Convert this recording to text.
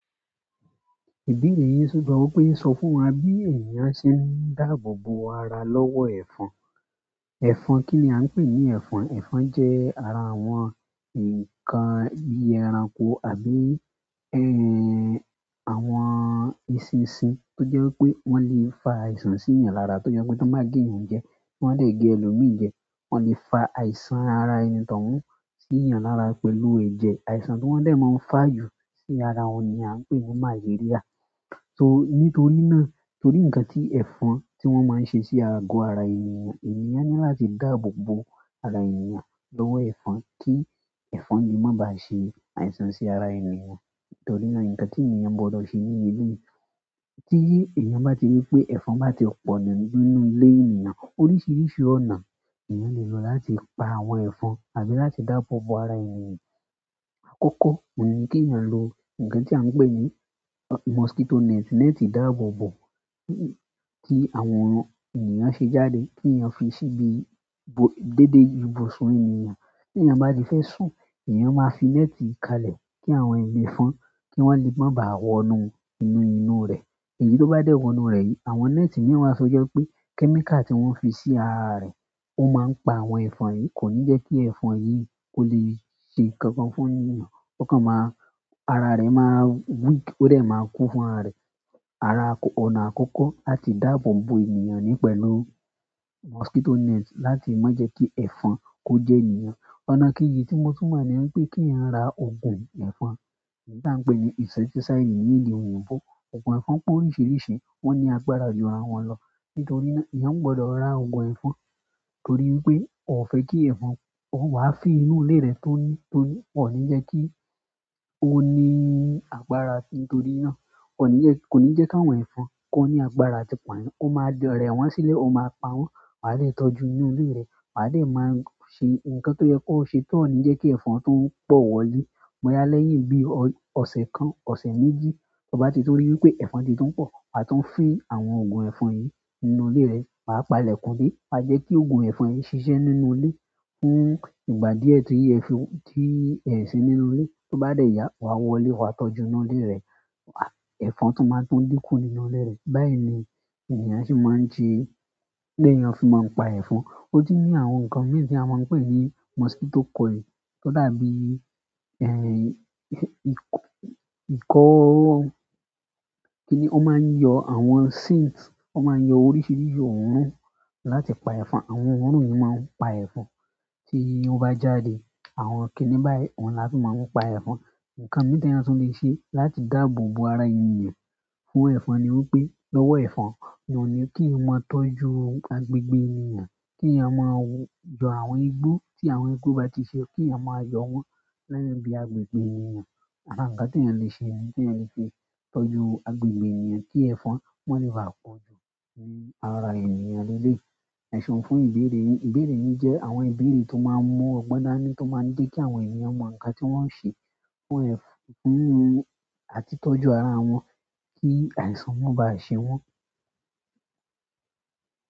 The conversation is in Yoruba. Ìbéèrè yíi ṣògbọ́n wípé ń sọ fún wa bí ènìyàn ṣe ń dáàbò bo ara lọ́wọ́ ẹ̀fọn. Ẹ̀fọn kí ni a ń pè ní ẹ̀fọn? Ẹ̀fọn jẹ́ ara àwọn ǹkan bíi ẹranko àbí àwọn eṣinṣin tó jẹ́ wípé wọ́n lè fa àìsàn sí èèyàn lára tó jẹ́ wípé tó bá gé èèyàn jẹ, wọ́n lè gé ẹlòmíi jẹ, wọ́n lè fa àìsàn ara ẹni tó hun sí èèyàn lára pẹ̀lú ẹ̀jẹ̀ àìsàn tó wọ́n dè máa ń fà jù sí ara ohun ni a ń pè ní màléríà. So nítorí náà torí ǹkan tí ẹ̀fọn tí wọ́n máa ń ṣe sí ago ara ènìyàn, ènìyàn ní láti dáàbò bo ara ènìyàn lọ́wọ́ ẹ̀fọn kí ẹ̀fọn lè má ba ṣe àìsàn sí ara ènìyàn. Nítorí náà ǹkan tí ènìyàn gbọdọ̀ ṣe ní eleyii tí èèyàn bá ti rí pé ẹ̀fọn bá ti pọ̀ nínú ilé ènìyàn oríṣiríṣi ọ̀nà nì èèyàn lè lo láti pa àwọn ẹ̀fọn àbí láti dáàbò bo ara ènìyàn. Àkọ́kọ́ ohun ní kí èèyàn lo ǹkan tí a ń pè ní mosquito net, net ìdáàbòbò tí àwọn ènìyàn ṣe jáde kí èèyàn fi síbi déédé ibùsùn ènìyàn. Ti èèyàn ba ti fẹ sún, èèyàn máa fi net kalẹ̀ kii àwọn ẹfọn ki wọn le máa bá wọ inú rẹ. Èyí tó bá dẹ́ wọnú rẹ̀ yìí àwọn net mìí wa to jẹ́ wípé kẹ́míkà tí wọ́n fi sí ara rẹ̀ ó máa ń pa àwọn ẹ̀fọn yìí kò ní jẹ́ kí ẹ̀fọn yìí kó lè ṣe nǹkankan fún ènìyàn. Ọ̀kan máa ara rẹ máa weak ó dè máa kú fún ara rẹ̀. Ara ọ̀nà àkọ́kọ́ láti dáàbò bo ènìyàn ni i pẹ̀lú mosquito net láti má jẹ́ kí ẹ̀fọn kó jẹ ènìyàn. Ọ̀nà kejì tí mo tún mọ̀ ni wípé kí èèyàn ra oògùn ẹ̀fọn èyí tí à ń pè ní insecticide ní èdè òyìnbó. Ogun ẹfọn pé oríṣiríṣi wọn ni agbára jù ira wọn lọ. Nítorí náà èèyàn gbọdọ̀ ra oògùn ẹ̀fọn torí wipé ọ fẹ́ kí ẹ̀fọn, ó wá fi inú ilé rẹ tóní tóní ò ní jẹ́ kí ó ní agbára sí i nítorí náà kò ní jẹ́ kí àwọn ẹ̀fọn kó ní agbára àti pá yan. Ó máa rẹ̀ wọ́n sílẹ̀, ó máa pa wọ́n, wà á lè tọ́jú inú ilé rẹ, wà á lè máa ṣe ǹkan tó yẹ kó ṣe tó ò ní jẹ́ kí ẹ̀fọn tu ń pọ̀ wọlé bọ̀ya lẹ́yìn bí ọ̀sẹ̀ kan ọ̀sẹ̀ méjì. Tí ọ bá ti tun rí wípé ẹ̀fọn ti tún pọ̀ wà á tún fín àwọn oògùn ẹ̀fọn yìí nínú ilé rẹ wà á pa lẹ̀kùn dé wà á jẹ́ kí oògùn ẹ̀fọn yìí ṣiṣẹ́ nínú ilé fún ìgbà díẹ̀ ti ẹ sii nínú ilé. Tí ó bá dẹ̀ yà wà á wọlé wà á tọ́jú inú ilé rẹ, ẹ̀fọn tún máa tún dínkù nínú ilé rẹ. Báyìí ni ènìyàn ṣe máa ń ṣe bíi éèyàn fi máa ń pa ẹ̀fọn. Ó tun ní àwọn nǹkan mii ti èèyàn máa ń pè ní mosquito coil tó dàbí ìkọ́ kí ni ó máa ń yọ àwọn scents ó máa ń yọ oríṣiríṣi òórùn láti pa ẹ̀fọn. Àwọn òórùn yìí máa ń pa ẹ̀fọn tí wọn bá jáde. Àwọn kìíní báyìí ohun la fi máa ń pa ẹ̀fọn. Ǹnkan mii ti èèyàn tún lè ṣe láti dáàbò bo ara ènìyàn fún ẹ̀fọn ni wípé lọ́wọ́ ẹ̀fọn ohun ní kí èèyàn maa tọ́jú agbègbè ènìyàn kí èèyàn máa yọ àwọn igbó tí àwọn igbó bá ti ṣe kí èèyàn máa yọ wọ́n ni ibí agbègbè ènìyàn. Àwọn nǹkan tí èèyàn lè ṣe ni tí èèyàn lè fi tọ́jú agbègbè ènìyàn kí ẹ̀fọn má lè ba pọ jù ní ara ènìyàn ní eléyìí. So, fún ìbéèrè yin, ìbéèrè yin jẹ àwọn ìbéèrè tó maa n mu ọgbọn dani, to máa jẹ ki àwọn ènìyàn mọ nǹkan ti wọn o ṣe fún àti tọ́jú ara wọn, ki àìsàn maa bá ṣe wọn.